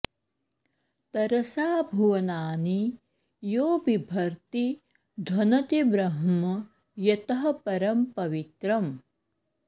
तरसा भुवनानि यो बिभर्ति ध्वनति ब्रह्म यतः परं पवित्रम्